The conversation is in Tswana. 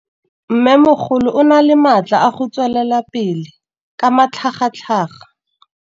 Mmêmogolo o na le matla a go tswelela pele ka matlhagatlhaga.